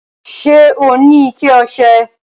Ṣẹ́ ọ ni ìkẹ̀ ọṣẹ?